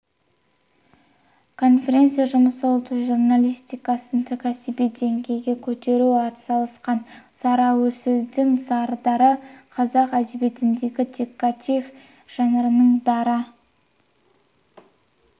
конференция жұмысы ұлт журналистикасын кәсіби деңгейге көтеруге атсалысқан сара сөздің сардары қазақ әдебиетіндегі детектив жанрының дара